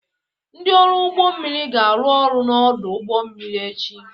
Ndị ọrụ ụgbọ mmiri ga-arụ ọrụ n'ọdụ ụgbọ mmiri echi.